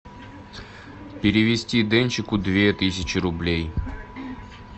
перевести денчику две тысячи рублей